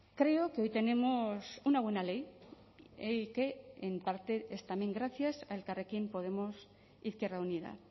creo que hoy tenemos una buena ley y que en parte es también gracias a elkarrekin podemos izquierda unida